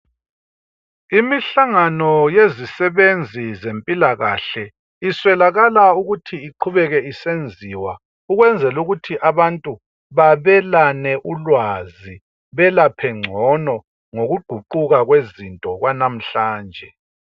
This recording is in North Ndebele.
Imihlangano yezisebenzi zempilakahle iswelakala ukuthi iqhubeke isenziwa ukwenzela ukuthi abantu babelane ulwazi belaphe ngcono ngokuguquka kwezinto kwanamhlanje.